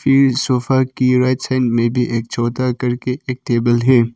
Sofa की right side में भी एक छोटा कर के एक टेबल है।